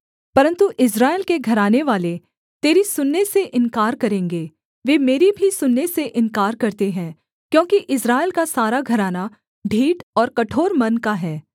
परन्तु इस्राएल के घरानेवाले तेरी सुनने से इन्कार करेंगे वे मेरी भी सुनने से इन्कार करते हैं क्योंकि इस्राएल का सारा घराना ढीठ और कठोर मन का है